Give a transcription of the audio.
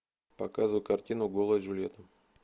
показывай картину голая джульетта